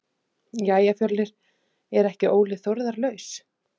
Jæja Fjölnir er ekki Óli Þórðar laus?